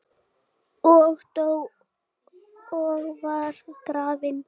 og dó og var grafinn